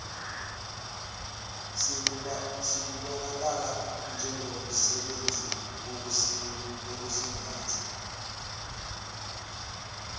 selubonakala njengomsebenzi wokusingatha